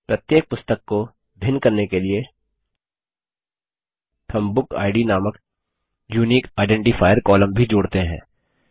प्रत्येक पुस्तक को भिन्न करने के लिए हम बुकिड नामक यूनिक आइडेंटिफायर कॉलम भी जोड़ते हैं